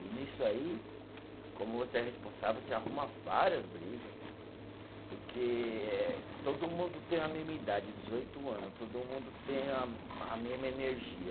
E nisso aí, como você é responsável, você arruma várias briga, porque eh todo mundo tem a mesma idade, dezoito anos, todo mundo tem a, a mesma energia.